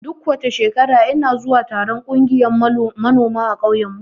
Duk shekara ina zuwa taron ƙungiyan manoma a ƙauyen mu.